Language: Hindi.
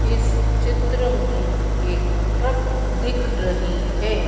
इस चित्र में एक ट्रक दिख रही है।